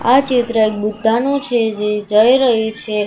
આ ચિત્ર એક બુદ્ધાનુ છે જે જઇ રહી છે.